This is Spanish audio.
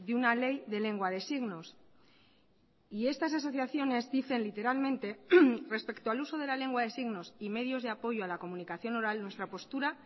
una ley de lengua de signos y estas asociaciones dicen literalmente respecto al uso de la lengua de signos y medios de apoyo a la comunicación oral nuestra postura